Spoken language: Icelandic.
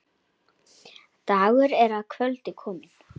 Dagur er að kvöldi kominn.